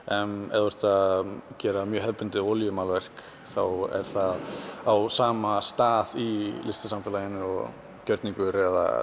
ef þú ert að gera mjög hefðbundið olíumálverk þá er það á sama stað í listasamfélaginu og gjörningur eða